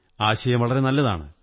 ആശയം വളരെ നല്ലതാണ്